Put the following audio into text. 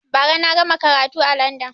Ba ra na gama karatu a landan